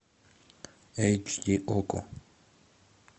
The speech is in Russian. эйч ди окко